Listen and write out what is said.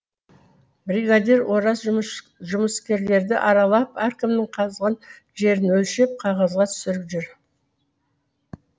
бригадир ораз жұмыскерлерді аралап әркімнің қазған жерін өлшеп қағазға түсіріп жүр